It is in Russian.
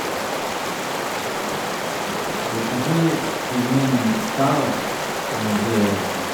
закажи пельмени салос с говядиной